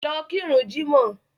Lọ kirun jímọ̀!